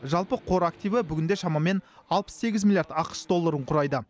жалпы қор активі бүгінде шамамен алпыс сегіз миллиард ақш долларын құрайды